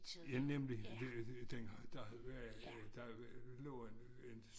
Ja nemlig dengang der øh der lå en en